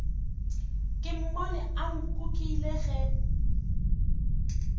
ke mmone a nkukile ge